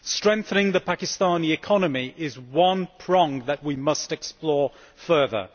Strengthening the Pakistani economy is one prong that we must explore further.